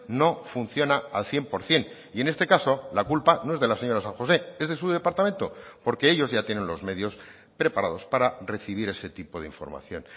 no funciona al cien por ciento y en este caso la culpa no es de la señora san josé es de su departamento porque ellos ya tienen los medios preparados para recibir ese tipo de información